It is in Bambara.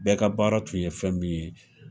Bɛɛ ka baara tun ye fɛn min ye.